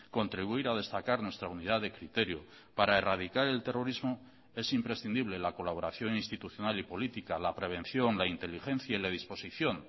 contribuir a destacar nuestra unidad de criterio para erradicar el terrorismo es imprescindible la colaboración institucional y política la prevención la inteligencia y la disposición